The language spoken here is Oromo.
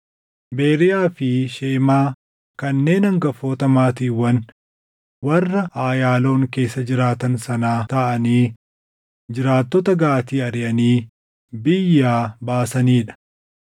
Beriiyaa fi Shemaa kanneen hangafoota maatiiwwan warra Ayaaloon keessa jiraatan sanaa taʼanii jiraattota Gaatii ariʼanii biyyaa baasanii dha.